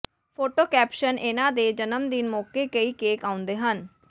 photo caption ਇਨ੍ਹਾਂ ਦੇ ਜਨਮਦਿਨ ਮੌਕੇ ਕਈ ਕੇਕ ਆਉਂਦੇ ਹਨ